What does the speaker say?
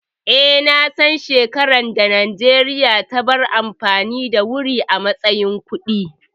Eh, na san shekaran da Najeriya ta bar amfani da wuri a matsayin kuɗi